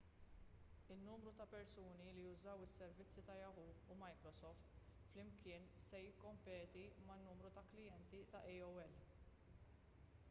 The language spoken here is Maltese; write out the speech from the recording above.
in-numru ta' persuni li jużaw is-servizzi ta' yahoo u microsoft flimkien se jikkompeti man-numru ta' klijenti ta' aol